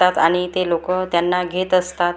त्यात आणि ते लोकं त्यांना घेत असतात.